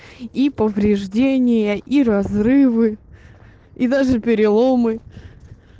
и повреждения и разрывы и даже переломы